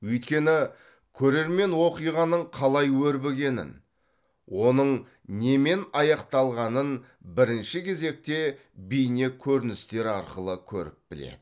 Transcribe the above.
өйткені көрермен оқиғаның қалай өрбігенін оның немен аяқталғанын бірінші кезекте бейнекөріністер арқылы көріп біледі